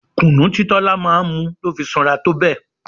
Kunu tí Tola máa ń mu ló fi sanra tó bẹ́ẹ̀.